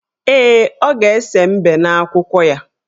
Ee, ọ ga-ese mbe n' akwụkwọ ya.